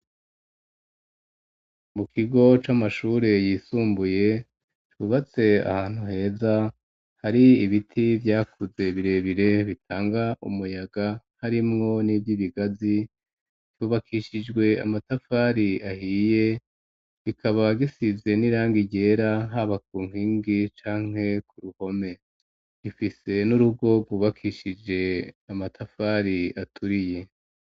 Mu kigo c'amashure yisumbuye, cubatse ahantu heza hari ibiti vyakuze birebire, bitanga umuyaga, harimwo n'ivy'ibigazi; cubakishijwe amatafari ahiye, kikaba gisize n'irangi ryera haba ku nkingi canke ku ruhome; ifise n'urugo rwubakishije amatafari aturiye.